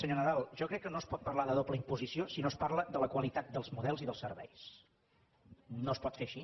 senyor nadal jo crec que no es pot parlar de doble imposició si no es parla de la qualitat dels models i dels serveis no es pot fer així